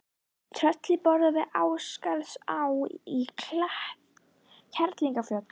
Trölli boraði við Ásgarðsá í Kerlingarfjöllum.